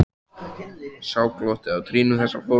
Sjá glottið á trýnum þessa fólks.